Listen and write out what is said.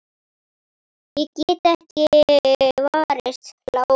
Ég get ekki varist hlátri.